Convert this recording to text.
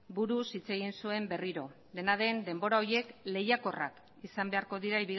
buruz hitz egin zuen berriro dena den denbora horiek lehiakorrak izan beharko dira